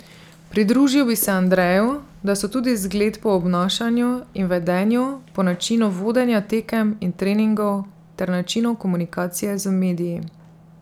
Pridružil bi se Andreju, da so tudi zgled po obnašanju in vedenju, po načinu vodenja tekem in treningov ter načinu komunikacije z mediji.